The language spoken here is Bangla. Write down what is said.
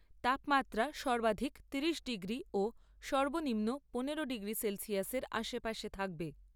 তাপমাত্রা সর্বাধিক তিরিশ ডিগ্রি ও সর্বনিম্ন পনেরো ডিগ্রি সেলসিয়াসের আশেপাশে থাকবে।